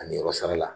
Ani yɔrɔ sara la